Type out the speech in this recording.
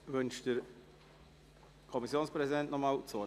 Wünscht der Kommissionspräsident noch einmal das Wort?